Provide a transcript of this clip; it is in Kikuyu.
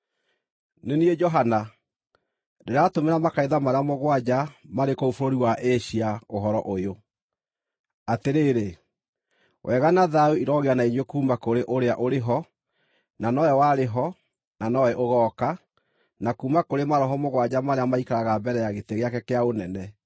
Nĩ niĩ Johana, Ndĩratũmĩra makanitha marĩa mũgwanja marĩ kũu bũrũri wa Asia ũhoro ũyũ: Atĩrĩrĩ, wega na thayũ irogĩa na inyuĩ kuuma kũrĩ ũrĩa ũrĩ ho, na nowe warĩ ho, na nowe ũgooka, na kuuma kũrĩ maroho mũgwanja marĩa maikaraga mbere ya gĩtĩ gĩake kĩa ũnene,